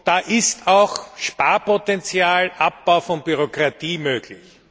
Da ist auch Sparpotenzial, Abbau von Bürokratie möglich.